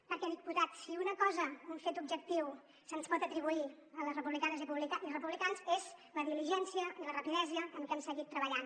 perquè diputat si una cosa un fet objectiu se’ns pot atribuir a les republicanes i republicans és la diligència i la rapidesa amb què hem seguit treballant